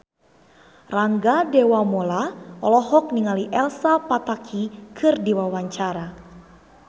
Rangga Dewamoela olohok ningali Elsa Pataky keur diwawancara